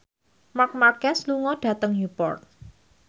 Marc Marquez lunga dhateng Newport